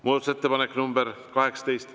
Muudatusettepanek nr 18.